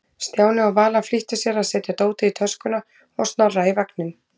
Stjáni og Vala flýttu sér að setja dótið í töskuna og Snorra í vagninn.